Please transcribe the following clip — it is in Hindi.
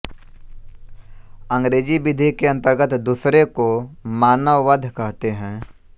अंग्रेजी विधि के अंतर्गत दूसरे को मानववध कहते हैं